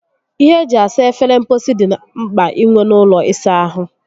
Ihe eji esa efere mposi dị mkpa inwe n'ụlọ ịsa ahụ